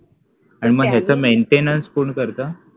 आणि मग याच maintenance कोण करतं